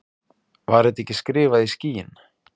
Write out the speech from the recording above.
Var þetta ekki skrifað í skýin?